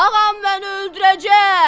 Ağam məni öldürəcək!"